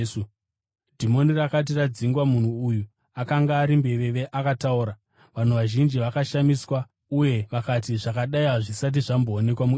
Dhimoni rakati radzingwa, munhu uya akanga ari mbeveve akataura. Vanhu vazhinji vakashamiswa uye vakati, “Zvakadai hazvisati zvamboonekwa muIsraeri.”